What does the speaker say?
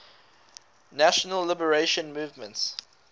national liberation movements